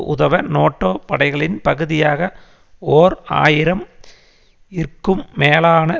உதவ நோட்டோ படைகளின் பகுதியாக ஓர் ஆயிரம் இற்கும் மேலான